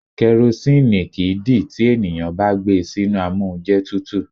Karosíìnì kìí dì tí ènìyàn bá gbé e sínú amóúnjẹtutù.